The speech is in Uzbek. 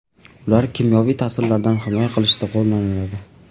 Ular kimyoviy ta’sirlardan himoya qilishda qo‘llaniladi.